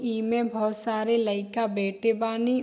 ई में बहोत सारे लइका बैठे बानी।